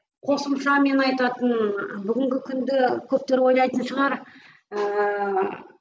қосымша менің айтатыным бүгінгі күнді көптері ойлайтын шығар ыыы